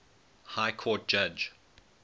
high court judge